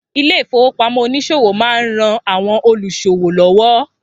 Ilé ìfowópamọ́ oníṣòwò má ń ran àwọn olúṣòwò lọ́wọ́